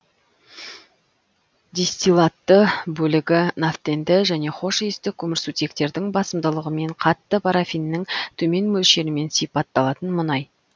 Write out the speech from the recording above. дистиллатты бөлігі нафтенді және хошиісті көмірсутектердің басымдылығымен қатты парафиннің төмен мөлшерімен сипатталатын мұнай